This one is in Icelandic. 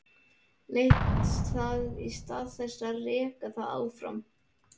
Leitt það í stað þess að reka það áfram.